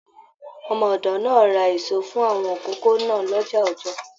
Ọmọ ọdọ náà rà èso fún àwọn ìkókó náà l'ọja Ọjọọ.